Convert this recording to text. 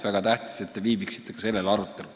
Väga tähtis, et te viibiksite ka sellel arutelul.